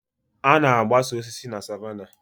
A na-agbasa osisi na savannah